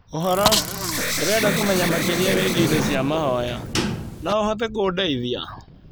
ũhoro, ndĩrenda kũmenya makĩria wĩgie indo cia mahoya. No ũhote kũndeithia?